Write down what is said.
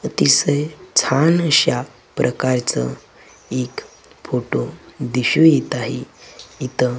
अतिशय छान अशा प्रकारचं एक फोटो दिसून येतं आहे. इथं